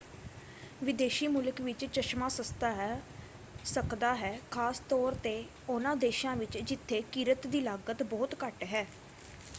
ਵਿਦੇਸ਼ੀ ਮੁਲਕ ਵਿੱਚ ਚਸ਼ਮਾ ਸਸਤਾ ਹੈ ਸਕਦਾ ਹੈ ਖਾਸ ਤੌਰ 'ਤੇ ਉਹਨਾਂ ਦੇਸ਼ਾਂ ਵਿੱਚ ਜਿੱਥੇ ਕਿਰਤ ਦੀ ਲਾਗਤ ਬਹੁਤ ਘੱਟ ਹੈ।